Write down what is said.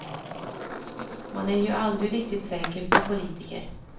Man är ju aldrig riktig säker på politiker.